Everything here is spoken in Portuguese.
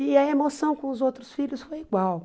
E a emoção com os outros filhos foi igual.